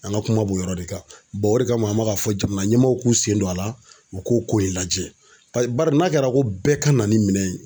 An ka kuma b'o yɔrɔ de kan o de kama an bɛ ka fɔ jamana ɲɛmɔgɔw k'u sen don a la u k'u ko in lajɛ paseke barisa n'a kɛra ko bɛɛ ka na ni minɛn ye.